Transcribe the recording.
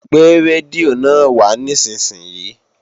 Gbé rédíò náà wá nísinsìnyí!